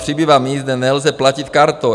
Přibývá míst, kde nelze platit kartou."